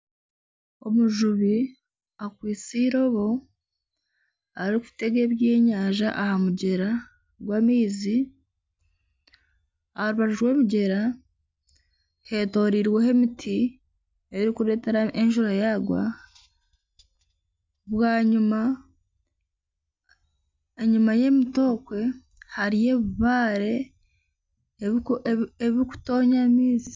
Omujubi akwitse iroobo erikutega ebyenyanja aha mugyera gw'amaizi aha rubaju rw'omugyera hetorirweho emiti erikureeteta enjura yagwa bwanyima enyima y'emiti okwe hariyo ebibare ebirikutonya amaizi.